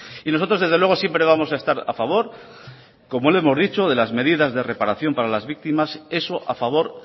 y nosotros desde luego siempre vamos a estar a favor como le hemos dicho de las medidas de reparación para las víctimas eso a favor